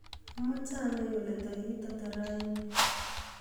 Amache anai kole tarik ata rauni?